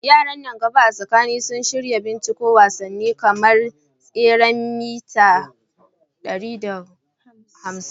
Yaran nan gaba a Katsina sun shirya binciko wasanni kamar tseren mita 1500.